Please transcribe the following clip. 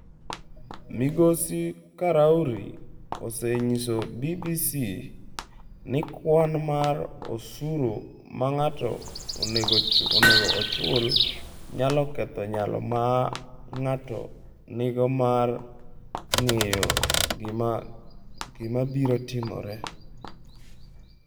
Migosi Karauri osenyiso BBC ni kwan mar osuru ma ng’ato onego ochul nyalo ketho nyalo ma ng’ato nigo mar ng’eyo gima biro timore.